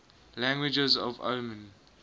languages of oman